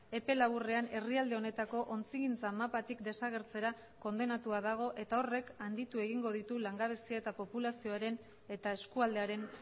epe laburrean herrialde honetako ontzigintza mapatik desagertzera kondenatua dago eta horrek handitu egingo ditu langabezia eta populazioaren eta eskualdearen